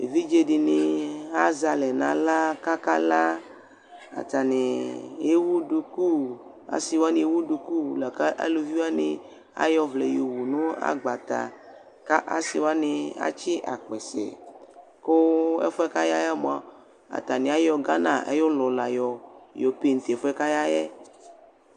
Evidzeɖini azɛ alɛ n'aɣla k'akala, atani ewu ɖʋkʋaasiwani ewu ɖʋkʋ lakʋ aalʋviwani ayɔ ɔvlɛ yɔwu nʋ agbata, k'aasiwani atsii akpɛsɛ, kʋ ɛfuɛ k'ayaɛ moa aatani ayɔ Ghana ayʋ ɔlɔ la yɔ painti ɛfuɛ ɛfuɛ k'ayƐ